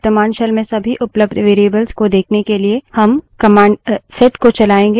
वर्त्तमान shell में सभी उपलब्ध variables को देखने के लिए हम command set को चलायेंगे